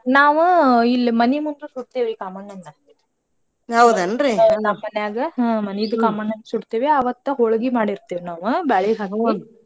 ನಾವು ಇಲ್ ಮನಿ ಮುಂದ ಸುಡ್ತೇವಿ ಕಾಮಣ್ಣನ್ನ ನಮ್ಮನ್ಯಾಗ ಹಾ ಮನೀದು ಕಾಮಣ್ಣನ್ ಸುಡ್ತೇವ್ಯಾ ಅವತ್ತ ಹೋಳ್ಗಿ ಮಾಡಿರ್ತೇವ್ ನಾವ ಬ್ಯಾಳಿ ಹಾಕಿ